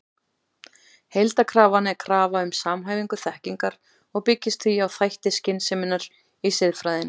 Heildarkrafan er krafa um samhæfingu þekkingar og byggist því á þætti skynseminnar í siðfræðinni.